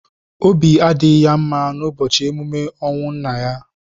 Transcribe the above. Obi adịghị ya mma n'ụbọchị emume ọnwụ nna ya.